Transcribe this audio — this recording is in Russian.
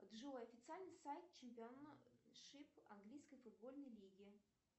джой официальный сайт чемпионшип английской футбольной лиги